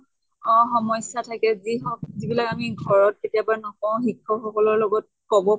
অহ সমস্য়াতো থাকে যি হৌক যিবিলাক আমি ঘৰত কেতিয়াবা নকওঁ শিক্ষ্ক সকলৰ লগত কʼব